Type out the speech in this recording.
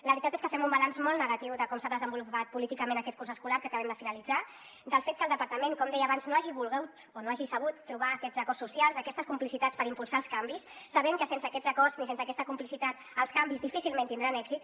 la veritat és que fem un balanç molt negatiu de com s’ha desenvolupat políticament aquest curs escolar que acabem de finalitzar del fet que el departament com deia abans no hagi volgut o no hagi sabut trobar aquests acords socials aquestes complicitats per impulsar els canvis sabent que sense aquests acords i sense aquesta complicitat els canvis difícilment tindran èxit